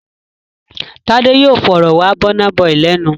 Tádé yóò fọ̀rọ̀ wá Burna Boy lẹ́nu!